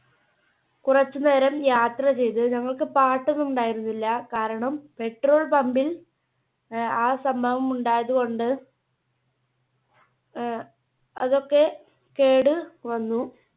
കുറച്ചുനേരം യാത്ര ചെയ്തു. ഞങ്ങൾക്ക് പാട്ട് ഒന്നും ഉണ്ടായിരുന്നില്ല കാരണം Petrol Pumb ൽ ആഹ് ആ സംഭവം ഉണ്ടായതു കൊണ്ട് അഹ് അതൊക്കെ കേട് വന്നു.